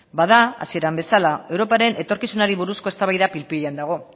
bada hasieran bezala europaren etorkizunari buruzko eztabaida pil pilean dago